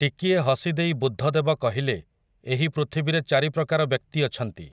ଟିକିଏ ହସି ଦେଇ ବୁଦ୍ଧଦେବ କହିଲେ ଏହି ପୃଥିବୀରେ ଚାରିପ୍ରକାର ବ୍ୟକ୍ତି ଅଛନ୍ତି ।